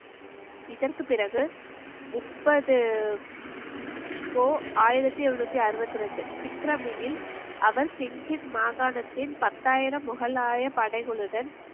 இதற்கு பிறகு முப்பது போ~ ஆயிரத்தி எழுநூத்தி அறுபத்தி ரெண்டு அவர் சிங்கித் மாகாணத்தின் பத்தாயிரம் முகலாய படைகளுடன்